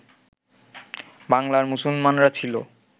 বাংলার মুসলমানরা ছিল